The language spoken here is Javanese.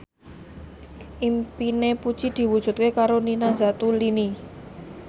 impine Puji diwujudke karo Nina Zatulini